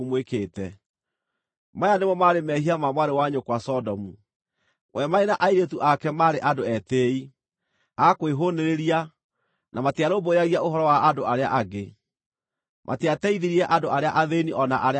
“ ‘Maya nĩmo maarĩ mehia ma mwarĩ wa nyũkwa Sodomu: We marĩ na airĩtu ake maarĩ andũ etĩĩi, a kwĩhũũnĩrĩria, na matiarũmbũyagia ũhoro wa andũ arĩa angĩ; matiateithirie andũ arĩa athĩĩni o na arĩa abatari.